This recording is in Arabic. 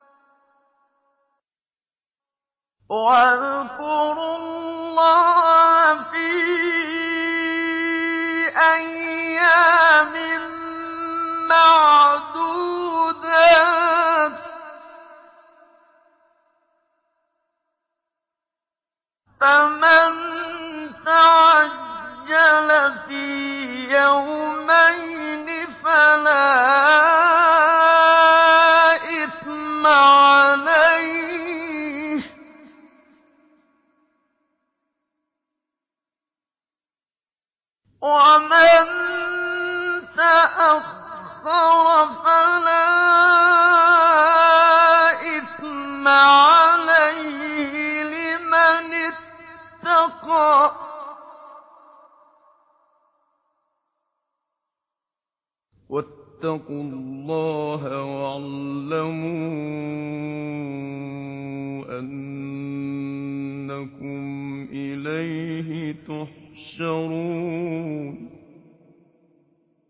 ۞ وَاذْكُرُوا اللَّهَ فِي أَيَّامٍ مَّعْدُودَاتٍ ۚ فَمَن تَعَجَّلَ فِي يَوْمَيْنِ فَلَا إِثْمَ عَلَيْهِ وَمَن تَأَخَّرَ فَلَا إِثْمَ عَلَيْهِ ۚ لِمَنِ اتَّقَىٰ ۗ وَاتَّقُوا اللَّهَ وَاعْلَمُوا أَنَّكُمْ إِلَيْهِ تُحْشَرُونَ